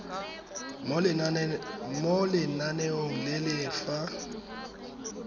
mo lenaneong le le fa